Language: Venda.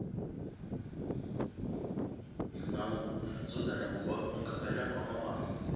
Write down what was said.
na u dzudzanya mugaganyagwama wa